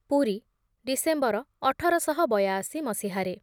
Puri December ଅଠର ଶହ ବୟାଅଶି ମସିହାରେ